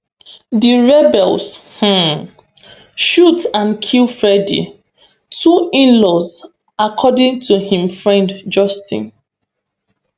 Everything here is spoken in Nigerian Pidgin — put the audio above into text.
di rebels um shoot and kill freddy two inlaws according to im friend justin